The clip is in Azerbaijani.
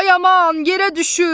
Ay aman, yerə düşür!